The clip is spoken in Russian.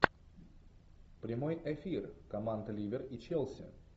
прямой эфир команд ливер и челси